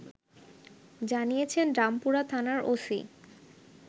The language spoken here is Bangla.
জানিয়েছেন রামপুরা থানার ওসি